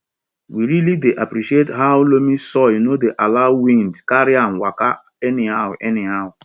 we really dey appreciate how loamy soil no dey allow wind carry am waka anyhow anyhow